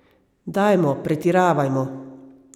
Dajmo, pretiravajmo.